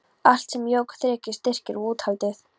Allt sem jók þrekið, styrkinn og úthaldið.